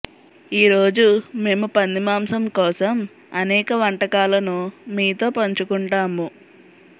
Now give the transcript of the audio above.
ఈరోజు మేము పంది మాంసం కోసం అనేక వంటకాలను మీతో పంచుకుంటాము